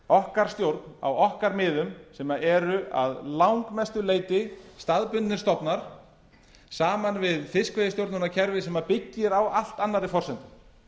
okkar stjórn á okkar miðum sem eru að langmestu leyti staðbundnir stofnar saman við fiskveiðistjórnarkerfi sem byggir á allt annarri